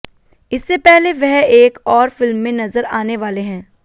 इससे पहले वह एक और फिल्म में नजर आने वाले हैं